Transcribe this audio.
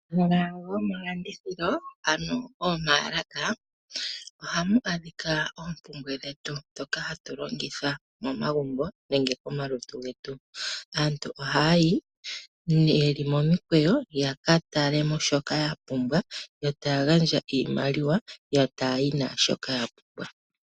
Omahala gomalandithilo ano momayalaka ohamu adhika oompumbwe dhetu dhoka hatu longitha momagumbo nenge komalutu getu. Aantu ohaya yi yeli momiikweyo yaka talemo shoka yapumbwa yo taya gandja iimaliwa yo taya yi nashoka ya pumbwa.